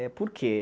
É, por quê?